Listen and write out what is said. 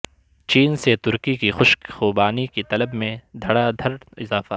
چین سے ترکی کی خشک خوبانی کی طلب میں دھڑا دھڑ اضافہ